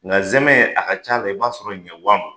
Nga zɛmɛn a ka ca i b'a sɔrɔ ɲɛwa ma.